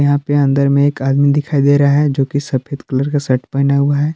यहां पे अंदर में एक आदमी दिखाई दे रहा है जो कि सफेद कलर का शर्ट पहना हुआ है।